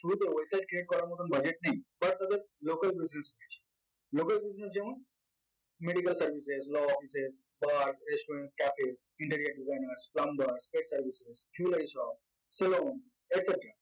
শুরুতে website create করার মতন budget নেই first তাদের local business local business যেমন medical services, las offices resturant, caffee, interior design, plumber selon et cetera